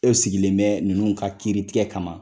E sigilen bɛ ninnu ka kiiri tigɛ kama.